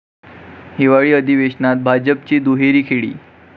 हिवाळी अधिवेशनात भाजपची दुहेरी खेळी